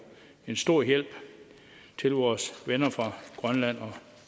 en stor hjælp til vores venner fra grønland